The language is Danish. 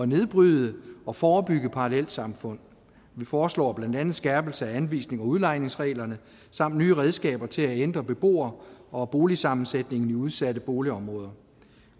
nedbryde og forebygge parallelsamfund vi foreslår blandt andet en skærpelse af anvisnings og udlejningsreglerne samt nye redskaber til at ændre beboer og boligsammensætningen i udsatte boligområder